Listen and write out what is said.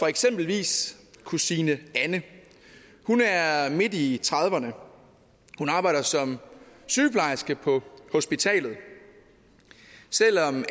eksempelvis kusine anne hun er midt i trediverne hun arbejder som sygeplejerske på hospitalet selv om